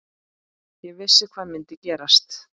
Ég vissi hvað myndi gerast.